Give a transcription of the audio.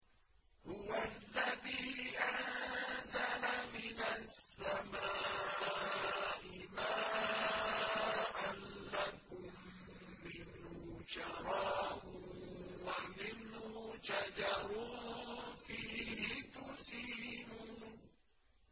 هُوَ الَّذِي أَنزَلَ مِنَ السَّمَاءِ مَاءً ۖ لَّكُم مِّنْهُ شَرَابٌ وَمِنْهُ شَجَرٌ فِيهِ تُسِيمُونَ